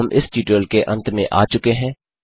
अब हम इस ट्यूटोरियल के अंत में आ चुके हैं